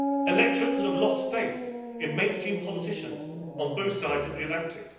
Electorates have lost faith in mainstream politicians on both sides of the Atlantic